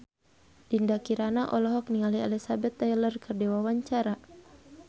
Dinda Kirana olohok ningali Elizabeth Taylor keur diwawancara